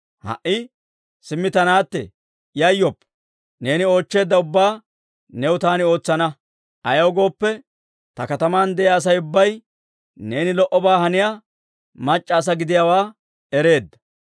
Ha"i simmi ta naatte, yayyoppa. Neeni oochcheedda ubbaa new taani ootsana. Ayaw gooppe, ta kataman de'iyaa Asay ubbay neeni lo"obaa haniyaa mac'c'a asaa gidiyaawaa ereedda.